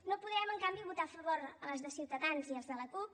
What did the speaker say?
no podem en canvi votar a favor de les de ciutadans ni les de la cup